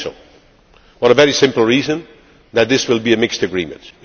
this? I think so, for the very simple reason that this will be a mixed agreement.